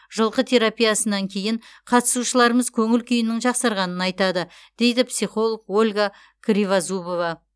жылқы терапиясынан кейін қатысушыларымыз көңіл күйінің жақсарғанын айтады дейді психолог ольга кривозубова